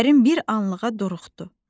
Kərim bir anlığa duruxdu.